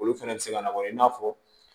Olu fɛnɛ bɛ se ka na wa i n'a fɔ